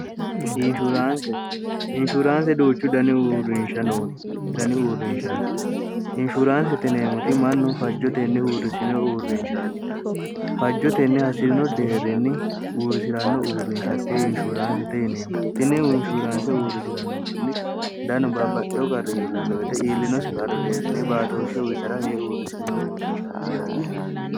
neinshuraanse doochu dani uurrinsha no dani uurrinshaati inshuraanse tineemoti mannu fajjotenni uurrisino uurrinshaati fajjotenni hasi'rino deerrinni uurrisi'ranno uurrinshatte inshuraansete yineemmo tinni unshuraanse uurrisi'ranno manni danu baabbaxxeyo qarri iillannoite iillinosi karri deerrinni baatooshshe witara yee uurrisino uurrinshaati yaate